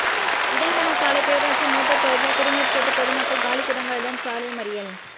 இடங்கணசாலை பேரூராட்சி மோட்டூா் பகுதியில் குடிநீா் கேட்டு பொதுமக்கள் காலி குடங்களுடன் சாலை மறியல்